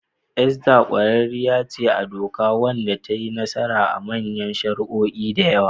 Esther ƙwararriyar ce a doka wadda ta yi nasara a manyan shari'o'i da yawa.